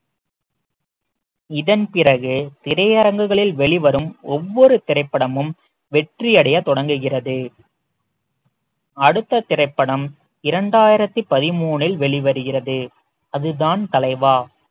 இதன் பிறகு திரையரங்குகளில் வெளிவரும் ஒவ்வொரு திரைப்படமும் வெற்றியடைய தொடங்குகிறது அடுத்த திரைப்படம் இரண்டாயிரத்தி பதிமூன்றில் வெளிவருகிறது அதுதான் தலைவா